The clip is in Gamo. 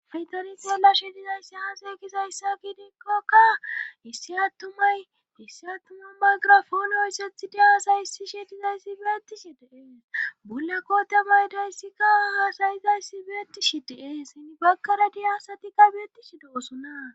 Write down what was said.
Hay tani xeelashe dizayssi aaze gizayssa gidekoka issi attumay issi attuma maygirafooni oyssethidi haasayissishi dizayssi beettishi de7es bulla koote maydayssikka haasayizayssi beettishi de7es bakkara diyasatikka beettishi de7osonna